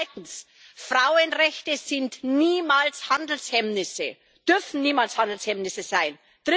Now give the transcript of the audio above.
Zweitens Frauenrechte sind niemals Handelshemmnisse, dürfen niemals Handelshemmnisse sein.